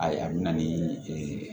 Ayi a bɛ na ni